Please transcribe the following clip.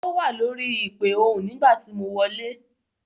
Ó wà lórí ìpè ohùn nígbà tí mo wọlé.